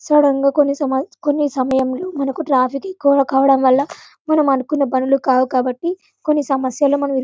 sudden గా కొన్ని సమ కొన్ని సమయంలో మనకు ట్రాఫిక్ ఎక్కువ అవడం వల్ల మనం అనుకున్న పనిలు కావు కాబట్టి కొన్ని సమస్యలు మనం --